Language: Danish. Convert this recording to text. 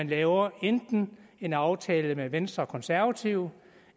laver en aftale med venstre og konservative